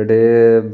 ଏଇଠି